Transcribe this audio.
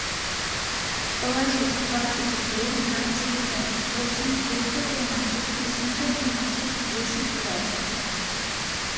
положить двадцать рублей на телефон восемь девятьсот тринадцать восемьсот двенадцать десять двадцать